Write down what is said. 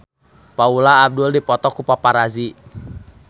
Paula Abdul dipoto ku paparazi